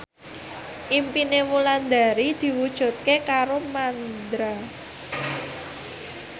impine Wulandari diwujudke karo Mandra